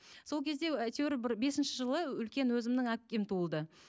сол кезде әйтеуір бір бесінші жылы үлкен өзімнің әпкем туылды